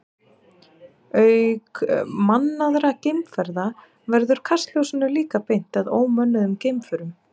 Auk mannaðra geimferða verður kastljósinu líka beint að ómönnuðum geimförum.